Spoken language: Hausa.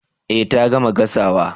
Eh ta gama gasawa